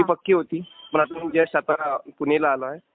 ती पक्की होती पण आता मी जस्ट आता पुणेला आलोय.